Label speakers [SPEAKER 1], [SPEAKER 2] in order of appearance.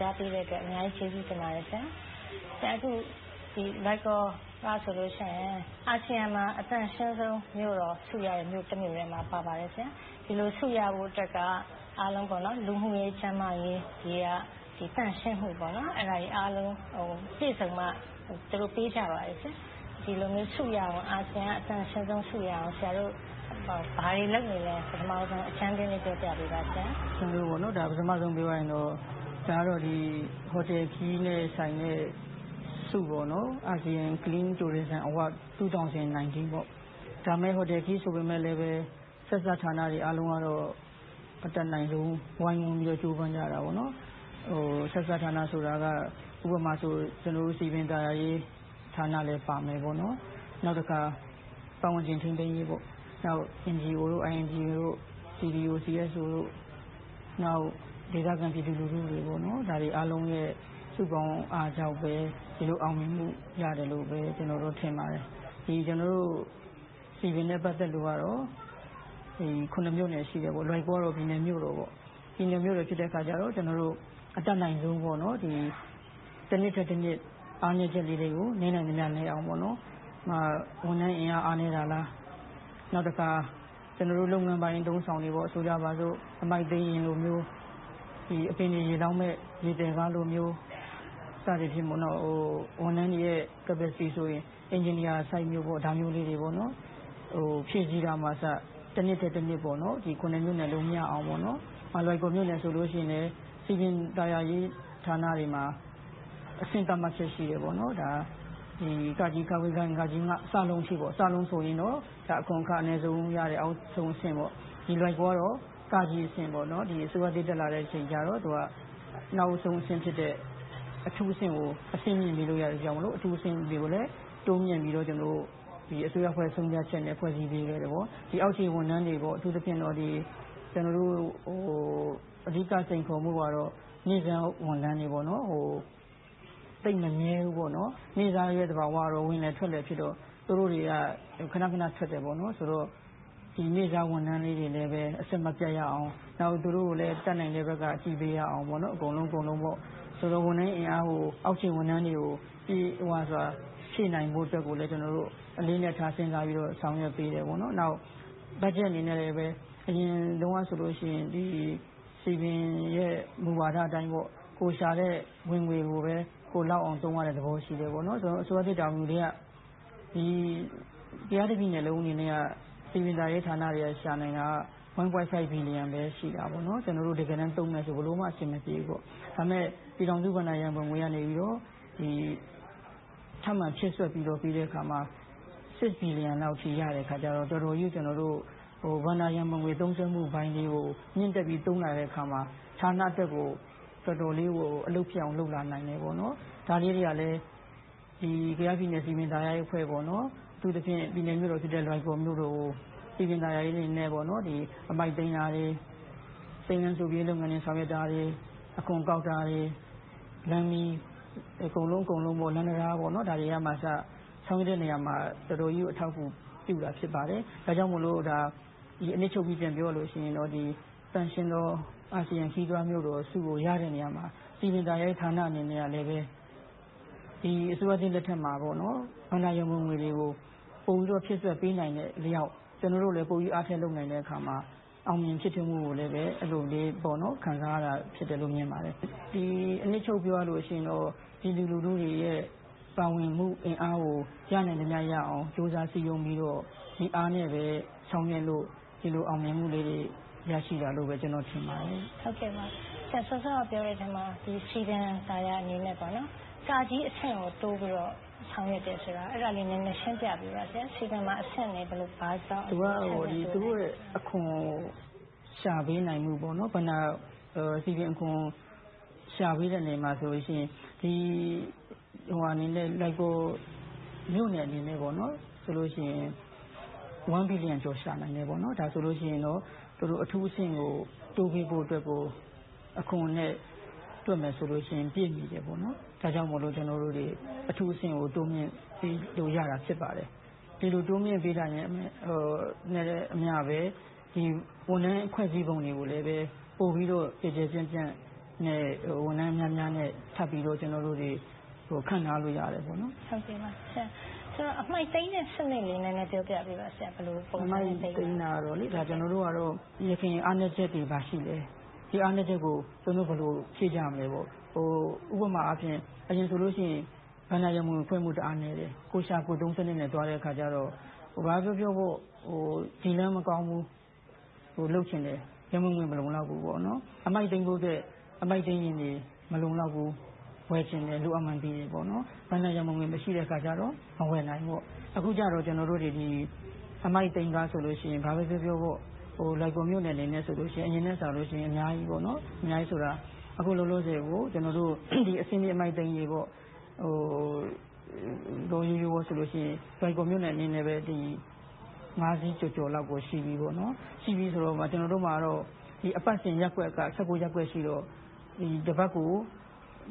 [SPEAKER 1] ကြားပေးတဲ့အတွက် အများကြီးကျေးဇူးတင်ပါတယ်။ လွိုင်ကော်မြို့ကဆိုရင် အာဆီယံမှာ အသန့်ရှင်းဆုံးမြို့တော် ဆုရတဲ့ မြို့တမြို့ထဲမှာ ပါဝင်ပါတယ်။ ဒီလိုဆုရဖို့အတွက်က အားလုံး လူမှုရေး၊ ကျန်းမာရေး၊ ဂေဟသန့်ရှင်းမှု အဲဒါတွေအားလုံးပြည့်စုံမှ သူတို့ပေးကြပါတယ်။ ဒီလိုမျိုး အာဆီယံသန့်ရှင်းဆုံးဆုရအောင် ဆရာတို့ ဘာတွေလုပ်နေလဲ။ ပထမဦးဆုံး အကြမ်းဖျဉ်းလေး ပြောပြပေးပါ။
[SPEAKER 2] ပထမဦးဆုံးပြောရရင်တော့ ဒါက ဟိုတယ်ခရီးသွားနဲ့ဆိုင်တဲ့ ဆုပေါ့။ Asean Clean Tourist City Standard award 2019 ပါ။ ဒါပေမဲ့ ဟိုတယ်နဲ့ခရီး ဆိုပေမယ့်လဲ ဆက်စပ်ဌာနတွေအားလုံးကတော့ အတတ်နိုင်ဆုံး ဝိုင်းဝန်းပြီးတော့ ကြိုးစားကြပါတယ်။ ဆက်စပ်ဌာနဆိုတာက ဥပမာဆို ကျနော်တို့ စည်ပင်သာယာရေးဌာနလည်းပါမယ်။ နောက်တခါ ပတ်ဝန်းကျင်ထိန်းသိမ်းရေး၊ NGO, INGO တို့ CVO, CSO တို့ နောက်ဒေသခံပြည်သူလူထုတွေအားလုံးရဲ့ စုပေါင်းအားကြောင့်ပဲ ဒီလိုအောင်မြင်မှုရတယ်လို့ပဲ ကျနော် ထင်ပါတယ်။ ကျနော်တို့ စည်ပင်နဲ့ပတ်သက်လို့တော့ မြို့နယ်ရှိတယ်။ လွိုင်ကော်ကတော့ ပြည်နယ်မြို့တော်။ ပြည်နယ်မြို့တော်ဖြစ်တဲ့အတွက် ကျနော်တို့ အတတ်နိုင်ဆုံး တနှစ်ထက်တနှစ် အားနည်းချက်လေးတွေကို နည်းနိုင်သမျှနည်းအောင် - ဥပမာ ဝန်ထမ်းအင်အား အားနည်းတာလား။ နောက်တခါ ကျနော်တို့ လုပ်ငန်းပိုင်း အသုံးအဆောင်တွေ - ဆိုကြပါစို့ အမှိုက်သိမ်းယာဉ်လိုမျိုး၊ အပင်တွေရေလောင်းမယ့် ရေသယ်ကား စသည်ဖြင့် ဝန်ထမ်းတွေရဲ့ Capacity ဆိုရင် အင်ဂျင်နီယာလိုမျိုး ဒါမျိုးလေးတွေကို ဖြည့်ဆည်းတာကအစ တနှစ်ထက်တနှစ် မြို့နယ်လုံးမျှအောင် - ဥပမာ လွိုင်ကော်မြို့နယ်ဆိုရင်လဲ စည်ပင်သာယာရေးဌာနတွေမှာ အဆင့်သတ်မှတ်ချက်ရှိတယ်။ အထိ - ဆိုရင် အခွန်အခ အနည်းဆုံးရတဲ့ အောက်ဆုံးအဆင့်ပေါ့။ လွိုင်ကော်ကတော့ အဆင့်။ အစိုးရအသစ် တက်လာတဲ့အချိန်ကျတော့ နောက်ဆုံးအဆင့်ဖြစ်တဲ့ အထူးအဆင့်ကို အဆင့်မြင့်ပေးလို့ရတဲ့အတွက် အထူးအဆင့်ကိုလည်း တိုးမြှင့်ပြီးတော့ အစိုးရအဖွဲ့ ဆုံးဖြတ်ချက်နဲ့ ဖွဲ့စည်းပေးခဲ့တယ်။ အောက်ခြေဝန်ထမ်းတွေကို အထူးသဖြင့်တော့ ကျနော်တို့ အဓိကစိန်ခေါ်မှုကတော့ နေ့စားဝန်ထမ်းတွေက သိပ်မမြဲဘူး။ နေ့စားရဲ့ သဘာဝက ဝင်လွယ်ထွက်လွယ်ဖြစ်တော့ သူတို့တွေက ခဏခဏထွက်တယ်ဆိုတော့ ဒီနေ့စားဝန်ထမ်းလေးတွေနဲ့ပဲ အဆက်မပြတ်ရအောင်၊ နောက် သူတို့ကိုလည်း တတ်နိုင်တဲ့ဘက်က ညှိပေးရအောင် အကုန်လုံးပေါ့။ ဆိုတော့ ဝန်ထမ်းအင်အားကို အောက်ခြေဝန်ထမ်းတွေကို ဖြည့်နိုင်ဖို့အတွက် ကျနော်တို့ အလေးအနက် စဉ်းစားပြီးတော့ ဆောင်ရွက်ပေးတယ်။ နောက် ဘတ်ဂျက်အနေနဲ့လဲ အရင်တုန်းကဆိုရင် စည်ပင်ရဲ့ မူဝါဒအတိုင်း ကိုယ်ရှာတဲ့ဝင်ငွေကိုပဲ ကိုယ်လောက်အောင်သုံးရတဲ့ သဘောရှိတယ်။ အစိုးရသစ် တာဝန်ယူပြီးတဲ့နောက် ကယားပြည်နယ်တပြည်လုံးအနေနဲ့က စည်ပင်သာယာရေးဌာနတွေက ရှာနိုင်တာ ၁.၅ ဘီလီယံ,ပဲ ရှိခဲ့တာ။ ကျနော်တို့ တကယ်တမ်းသုံးမယ်ဆို ဘယ်လိုမှ အဆင်မပြေဘူး။ ဒါပေမဲ့ ပြည်ထောင်စုဘဏ္ဍာရန်ပုံငွေကနေ ထပ်မံဖြည့်ဆွတ်ပြီးတော့ ပေးတဲ့အခါမှာ ၆ ဘီလီယံလောက်ထိ ရတဲ့အခါကြတော့ တော်တော်ကြီးကို ဘဏ္ဍာရန်ပုံငွေ သုံးစွဲမှုပိုင်းကို မြှင့်တက်ပြီးတိုးလာတဲ့အခါမှာ ဌာနအတွက်ကို တော်တော်လေးကို အလုပ်ဖြစ်အောင် လုပ်လာနိုင်တယ်။ ဒါလေးတွေက ကယားပြည်နယ် စည်ပင်သာယာရေးအဖွဲ့ အထူးသဖြင့် ပြည်နယ်မြို့တော်ဖြစ်တဲ့ လွိုင်ကော်မြို့တော်ကို စည်ပင်သာယာရေးအနေနဲ့ အမှိုက်သိမ်းတာတွေ၊ စိမ်းလန်းစိုပြေရေးတွေ ဆောင်ရွက်တာ၊ အခွန်ကောက်တာတွေ၊ လမ်းမီး၊ လမ်းတံတား၊ ဒါတွေကအစ ဆောင်ရွက်တဲ့နေရာမှာ တော်တော်ကြီးကို အထောက်အကူပြုတာ ဖြစ်ပါတယ်။ ဒါကြောင့်မို့ အနစ်ချုပ်ပြီး ပြန်ပြောရရင် သန့်ရှင်းသော အာဆီယံခရီးသွားမြို့တော်ဆုကို ရတဲ့နေရာမှာ စည်ပင်သာယာဌာနအနေနဲ့လည်း ဒီအစိုးရသစ်လက်ထက်မှာ ဘဏ္ဍာရန်ပုံငွေတွေကို ပိုပြီးတော့ ဖြည့်ဆွတ်ပေးနိုင်တဲ့အလျှောက် ကျနော်တို့လည်း ပိုပြီးတော့ အားထည့်လုပ်နိုင်တဲ့အခါမှာ အောင်မြင်ဖြစ်ထွန်းမှုကိုလည်း အဲဒီလို ခံစားရတာ ဖြစ်တယ်လို့ မြင်ပါတယ်။ အနှစ်ချုပ်ပြောရရင်တော့ ပြည်သူလူထုတွေရဲ့ ပါဝင်မှုအင်အားကို ရနိုင်သမျှရအောင် ကြိုးစားစည်းရုံးပြီးတော့ ဒီအားနဲ့ပဲ ဆောင်ရွက်ခဲ့လို့ ဒီလိုအောင်မြင်မှုလေးတွေ ရရှိတာလို့ ကျနော်ထင်ပါတယ်။
[SPEAKER 1] ဆရာ စောစောကပြောတဲ့အထဲမှာ စည်ပင်သာယာအနေနဲ့ အဆင့်ကို တိုးပြီးတော့ ဆောင်ရွက်တယ်ဆိုတာ အဲဒါကို နည်းနည်းရှင်းပြပေးပါ။ စည်ပင်မှာ ဘာကြောင့် အဆင့်တွေ ခွဲထားသလဲဆိုတာပါ။
[SPEAKER 2] သူတို့ရဲ့ အခွန်ရှာပေးနိုင်မှု - ဘဏ္ဍာစည်ပင်အခွန် ရှာပေးတဲ့နယ်မှာဆို လွိုင်ကော်မြို့နယ်အနေနဲ့ဆို ဘီလီယံကျော် ရှာပေးနိုင်တယ်။ ဒါဆိုရင် သူတို့ အထူးအဆင့်ကို တိုးပေးဖို့အတွက်ကို အခွန်နဲ့ တွက်မယ်ဆိုရင် ပြည့်မီတယ်ဆိုတော့ ကျနော်တို့တွေ အထူးအဆင့်ကို တိုးမြှင့်ပေးလို့ရတာ ဖြစ်ပါတယ်။ ဒီလိုတိုးမြှင့်ပေးတာနဲ့အမျှ ဝန်ထမ်းဖွဲ့စည်းပုံတွေကိုလည်း ပိုပြီးတော့ ကျယ်ကျယ်ပြန့်ပြန့်နဲ့ ဝန်ထမ်းများများနဲ့ ထပ်ပြီးတော့ ခန့်ထားလို့ရတယ်။
[SPEAKER 1] ဆိုတော့ အမှိုက်သိမ်းတဲ့စနစ်လေး နည်းနည်းပြောပြပေးပါ။ ဘယ်လိုပုံစံနဲ့ လုပ်ပါသလဲ။
[SPEAKER 2] အမှိုက်သိမ်းတာကတော့ ယခင်အားနည်းချက်တွေ ဘာတွေရှိလဲ။ ဒီအားနည်းချက်တွေကို ကျနော်တို့ ဘယ်လိုဖြည့်ကြမလဲပေါ့။ ဥပမာ အရင်ဆိုရင် ဘဏ္ဍာရန်ပုံငွေခွဲမှု အားနည်းတယ်။ ကိုယ်ရှာကိုယ်သုံးစနစ်နဲ့ သွားတဲ့အခါကြတော့ ဘာပဲပြောပြော ဒီလမ်းမကောင်းဘူး လုပ်ချင်တယ်။ ဒါပေမဲ့ ရန်ပုံငွေ မလုံလောက်ဘူး။ အမှိုက်သိမ်းဖို့အတွက် အမှိုက်သိမ်းယာဉ်တွေ မလုံလောက်ဘူး။ ဝယ်ချင်တယ်။ ဘဏ္ဍာရန်ပုံငွေ မရှိတဲ့အခါကြတော့ မဝယ်နိုင်ဘူး။ အခုကြတော့ ကျနော်တို့တွေ အမှိုက်သိမ်းကားဆိုရင် ဘာပဲပြောပြော လွိုင်ကော်မြို့နယ်အနေနဲ့ဆိုရင် အရင်ကထက်စာရင် အများကြီး - အခုလောလောဆယ်ကို ကျနော်တို့ အဆင့်မြင့်အမှိုက်သိမ်းရေးဆိုရင် လွိုင်ကော်မြို့နယ်အတွက် စီးကျော်လောက် ရှိပြီ။ ကျနော်တို့မှာ အပတ်စဉ်ရပ်ကွက်က ရပ်ကွက်ရှိတော့ တပတ်ကို